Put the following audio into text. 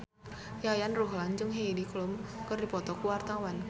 Yayan Ruhlan jeung Heidi Klum keur dipoto ku wartawan